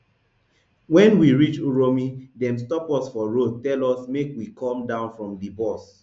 wen we reach uromi dem stop us for road tell us make we come down from di bus